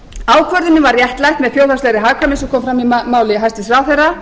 ákvörðunin var réttlætt með þjóðhagslegri hagkvæmni eins og kom fram í máli hæstvirts ráðherra